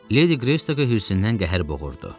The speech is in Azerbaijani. Ledi Greystoke-u hirsindən qəhər boğurdu.